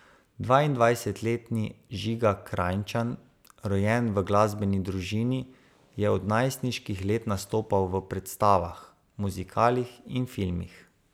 Dvaindvajsetletni Žigan Krajnčan, rojen v glasbeni družini, je od najstniških let nastopal v predstavah, muzikalih in filmih.